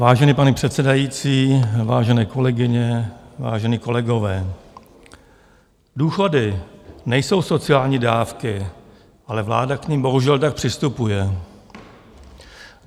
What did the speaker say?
Vážený pane předsedající, vážené kolegyně, vážení kolegové, důchody nejsou sociální dávky, ale vláda k nim bohužel tak přistupuje.